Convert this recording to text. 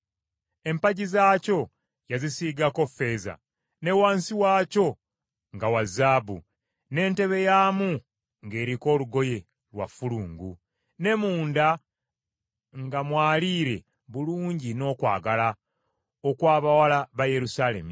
Empagi zaakyo yazisiigako ffeeza, ne wansi waakyo nga wa zaabu, n’entebe yaamu ng’eriko olugoye lwa ffulungu; ne munda nga mwaliire bulungi n’okwagala, okw’abawala ba Yerusaalemi.